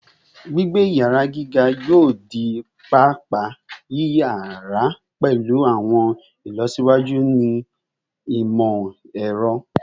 Gbigbe iyara giga yoo di paapaa yiyara pẹlu awọn ilọsiwaju ni imọ-ẹrọ